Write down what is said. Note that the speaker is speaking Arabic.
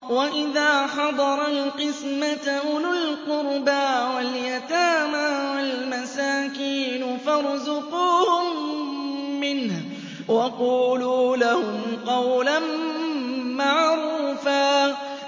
وَإِذَا حَضَرَ الْقِسْمَةَ أُولُو الْقُرْبَىٰ وَالْيَتَامَىٰ وَالْمَسَاكِينُ فَارْزُقُوهُم مِّنْهُ وَقُولُوا لَهُمْ قَوْلًا مَّعْرُوفًا